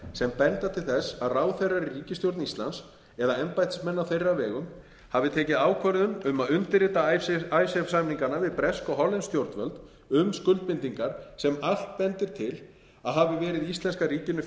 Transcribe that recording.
sem benda til þess að ráðherrar í ríkisstjórn íslands eða embættismenn á þeirra vegum hafi tekið ákvörðun um að undirrita icesave samningana við bresk og hollensk stjórnvöld um skuldbindingar sem allt bendir til að hafi verið íslenska ríkinu